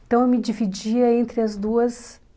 Então, eu me dividia entre as duas